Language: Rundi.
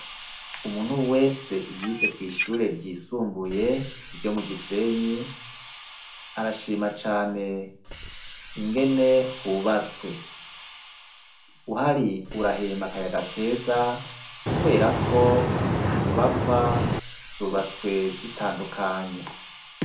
Umuntu wese yize kw'ishure ryisumbuye ryo mu gisenyi arashima cane ingene hubatswe uhoari urahema akayaga keza, kubera ko inyubakwa zubatswe zitandukanye.